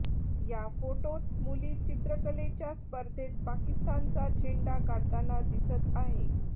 या फोटोत मुली चित्रकलेच्या स्पर्धेत पाकिस्तानचा झेंडा काढताना दिसत आहे